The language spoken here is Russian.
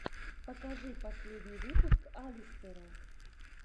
покажи последний выпуск алистера